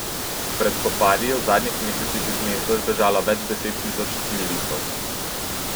Pred spopadi je v zadnjih mesecih iz mesta zbežalo več deset tisoč civilistov.